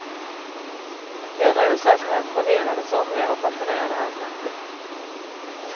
Denna osäkerhet förvirrade somliga och fascinerade andra. punkt